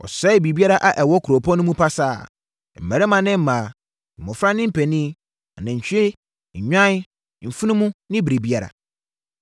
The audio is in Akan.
Wɔsɛee biribiara a ɛwɔ kuropɔn no mu pasaa, mmarima ne mmaa, mmɔfra ne mpanin, anantwie, nnwan, mfunumu ne biribiara.